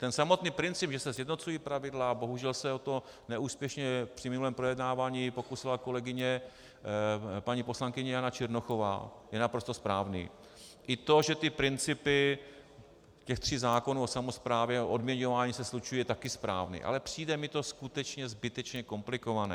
Ten samotný princip, že se sjednocují pravidla, bohužel se o to neúspěšně při minulém projednávání pokusila kolegyně paní poslankyně Jana Černochová, je naprosto správný, i to, že ty principy těch tří zákonů o samosprávě a odměňování se slučují, je také správný, ale přijde mi to skutečně zbytečně komplikované.